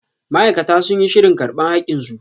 Ma'aikata sun yi shirin karba hakin su.